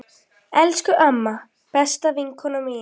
Elsku amma, besta vinkona mín.